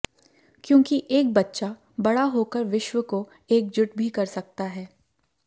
क्योंकि एक बच्चा बड़ा होकर विश्व को एकजुट भी कर सकता है